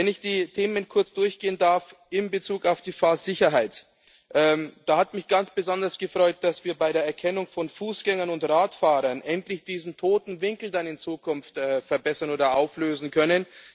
Wenn ich die Themen kurz durchgehen darf In Bezug auf die Fahrsicherheit hat mich ganz besonders gefreut, dass wir bei der Erkennung von Fußgängern und Radfahrern in Zukunft endlich diesen toten Winkel verbessern oder auflösen können.